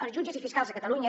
els jutges i fiscals a catalunya